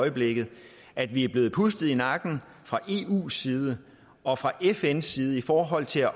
øjeblikket at vi er blevet pustet i nakken fra eus side og fra fns side i forhold til